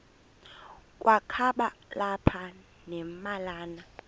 kwakaba lapha nemalana